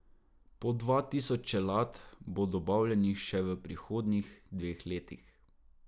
Po dva tisoč čelad bo dobavljenih še v prihodnjih dveh letih.